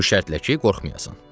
Bu şərtlə ki, qorxmayasan.”